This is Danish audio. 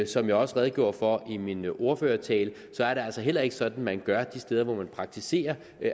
som jeg også redegjorde for i min ordførertale er det altså heller ikke sådan man gør de steder hvor man praktiserer